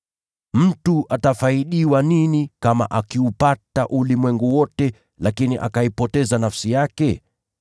Je, itamfaidi nini mtu kuupata ulimwengu wote, lakini akayapoteza maisha yake?